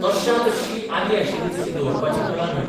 तश्शा तश्शी आदीं आशिल्ली तशी दवरपाची कला न्हय.